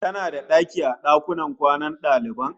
Kana da daki a dakunan kwanan daliban?